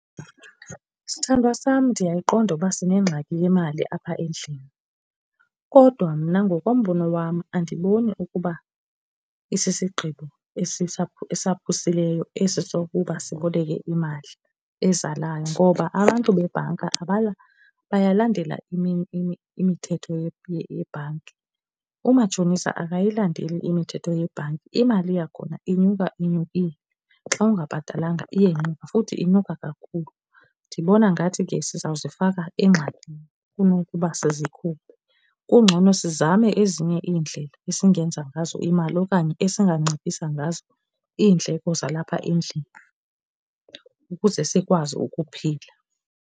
Sithandwa sam, ndiyayiqonda ukuba sinengxaki yemali apha endlini kodwa mna ngokombono wam andiboni ukuba isisigqibo esaphusileyo esi sokuba siboleke imali ezalayo ngoba abantu bebhanka bayalandela imithetho yebhanki. Umatshonisa akayilandeli imithetho yebhanki imali yakhona inyuka inyukile. Xa ungabhatalanga iyenyuka futhi inyuka kakhulu. Ndibona ngathi ke siza kuzifaka engxakini kunokuba sizikhuphe. Kungcono sizame ezinye iindlela esingenza ngazo imali okanye esinganciphisa ngazo iindleko zalapha endlini ukuze sikwazi ukuphila.